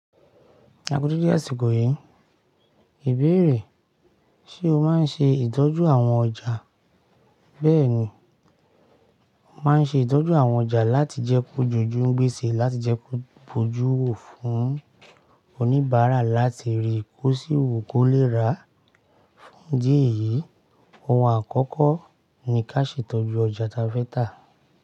Akúdédé àsìkò yìí. Íbèrè. Ṣé o máa ń ṣe ìtọ́jú àwọn ọjà? Bẹ́ẹ̀ni, mo máa ń ṣe ìtọ́jú àwọn ọjà láti jẹ́ kó jójú, ń gbé e sé láti jẹ́ kó bójú, wò fún oníbàárà láti rí i kó sì wò kó lè rà á. Fún ìdí eyi, ọ̀hun àkọ́kọ́ ni ká ṣe ìtọ́jú ọjà tafẹta.